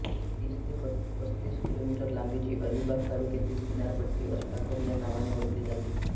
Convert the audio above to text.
तीस ते पस्तीस किलोमीटर लांबीची अलिबाग तालुक्यातील किनारपट्टी अष्टागर या नावाने ओळखली जाते